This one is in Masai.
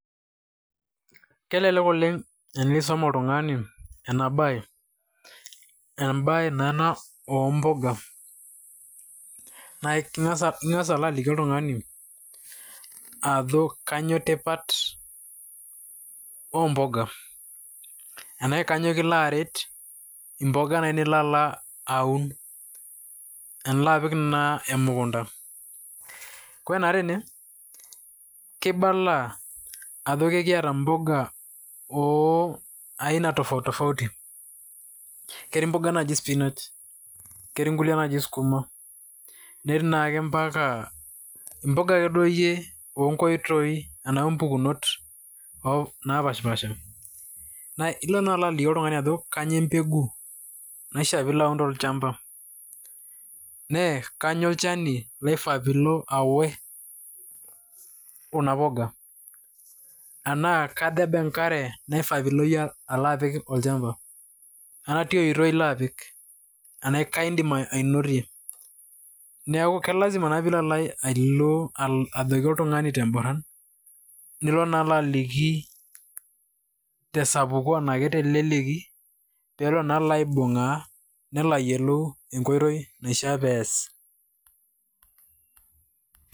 Kelelek oleng' enisom oltung'ani ena baye, naa embaye naa ena o mboga ning'as aliki oltung'ani ajo kanyo tipat o mboga anashe kanyo kilo aret mboga naa enilo alo aun tenilo apik naa emukunda. Kore naa tene kibala ajo kekiata mboga o aina tofauti tofauti. Ketii mboga naaji spinach, ketii ng'uliek naaji skuma, netii naake mpaka mboga akeduo iyie o nkoitoi anashe mpukunot napaashipaasha. Ilo naa aliki oltung'ani ajo kanyo embegu, naishaa pilo aun tolchambaa nee kanyo olchani laifaa pilo awosh kuna poga, enaa katha eba enkare naifaa piilo apik olchamba nee ketia oitoi ilo apik anaye kai indim ainotie. Neeku ke lazima piilo alo ajoki oltung'ani te mboran, nilo naa alo aliki te sapuko anake telelki pee elo naa alo aibung'aa nelo ayolou enkoitoi naishaa pee ees.